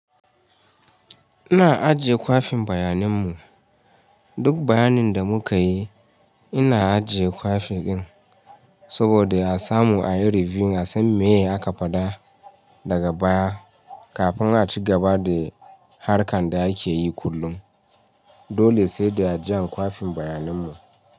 Ina ajiye kwafin bayaninmu. Duk bayanin da muka yi, ina ajiye kwafi din saboda a samu a yi reviewing a san me aka faɗa daga baya kafin a ci gaba da harkar da ake yi kullum. Dole sai da ajiye kwafin bayaninmu.